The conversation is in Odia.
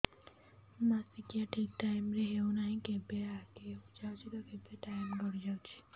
ମାସିକିଆ ଠିକ ଟାଇମ ରେ ହେଉନାହଁ କେବେ ଆଗେ ହେଇଯାଉଛି ତ କେବେ ଟାଇମ ଗଡି ଯାଉଛି